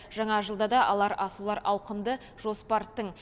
жаңа жылда да алар асулар ауқымды жоспар тың